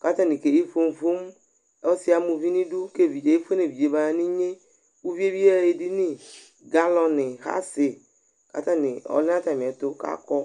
kʋ atanɩ keyi fomu fomu Ɔsɩ yɛ ama uvi nʋ idu kʋ evidze efue nʋ evidze yɛ baya nʋ inye Uvi yɛ bɩ yaɣa edini Galɔnɩ, ɣasɩ kʋ atanɩ ɔlɛ nʋ atamɩɛtʋ kʋ akɔ